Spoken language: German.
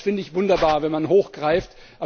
Das finde ich wunderbar, wenn man hoch greift!